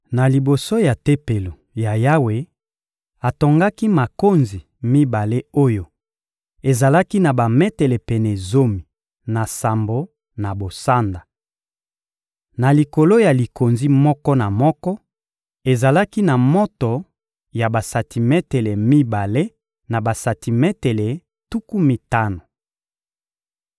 Na liboso ya Tempelo ya Yawe, atongaki makonzi mibale oyo ezalaki na bametele pene zomi na sambo na bosanda. Na likolo ya likonzi moko na moko, ezalaki na moto ya bametele mibale na basantimetele tuku mitano.